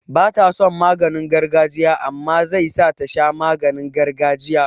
Bata son maganin gargajiya amma mai zai sa tasha maganin gargajiya?